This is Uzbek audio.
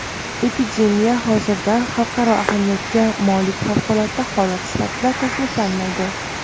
epidemiya hozirda xalqaro ahamiyatga molik favqulodda holat sifatida tasniflanmaydi.